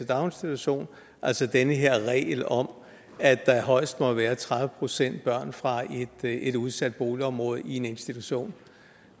daginstitution altså den her regel om at der højst må være tredive procent børn fra et udsat boligområde i en institution